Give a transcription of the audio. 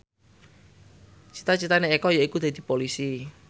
cita citane Eko yaiku dadi Polisi